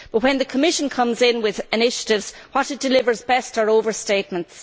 But when the Commission comes in with initiatives, what it delivers best are overstatements.